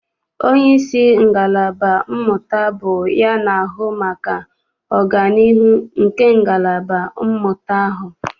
Onyeisi ngalaba mmụta bụ ya na-ahụ maka ọganiihu nke ngalaba mmụta ahụ.